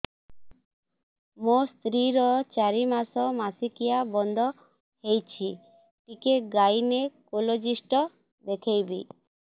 ମୋ ସ୍ତ୍ରୀ ର ଚାରି ମାସ ମାସିକିଆ ବନ୍ଦ ହେଇଛି ଟିକେ ଗାଇନେକୋଲୋଜିଷ୍ଟ ଦେଖେଇବି